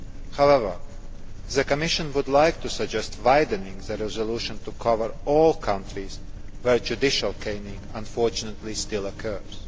However, the Commission would like to suggest widening the resolution to cover all countries where judicial caning unfortunately still occurs.